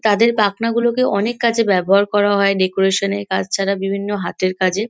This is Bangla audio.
তাদের পাখনাগুলোকে অনেক কাজে ব্যবহার করা হয় ডেকোরেশন -এর কাজ ছাড়া বিভিন্ন হাতের কাজে।